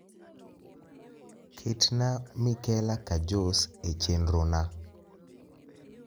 ketna mikela kajos e chenrona